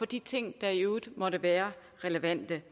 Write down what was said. de ting der i øvrigt måtte være relevante